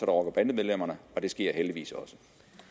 og bandemedlemmerne og det sker heldigvis også